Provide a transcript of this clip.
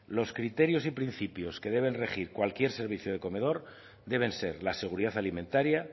los criterios y principios que debe regir cualquier servicio de comedor deben ser la seguridad alimentaria